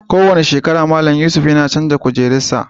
Ko wani shekara, Mallam Yusuf yana chanzar kujerun sa.